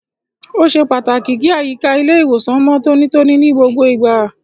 Ó ṣe pàtàkì kí àyíká ilé ìwòsàn mọ tonítoní ní gbogbo ìgbà.